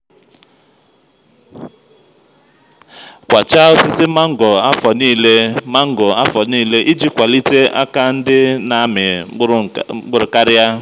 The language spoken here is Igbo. kwachaa osisi mango afonilé mango afonilé iji kwalite aka ndị na-amị mkpụrụ karịa.